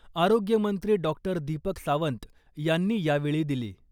आरोग्यमंत्री डॉक्टर दीपक सावंत यांनी यावेळी दिली .